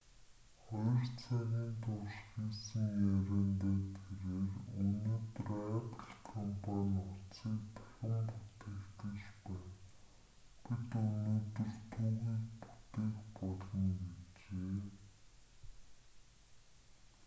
2 цагийн турш хийсэн яриандаа тэрээр өнөөдөр apple компани утсыг дахин бүтээх гэж байна бид өнөөдөр түүхийг бүтээх болно гэжээ